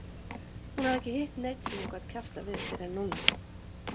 Hafði ekki hitt neinn sem hún gat kjaftað við fyrr en núna.